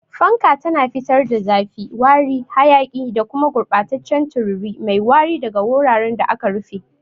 Fanka tana fitar da zafi, wari, hayaki, da kuma gurɓataccen tururi mai wari daga wuraren da aka rufe.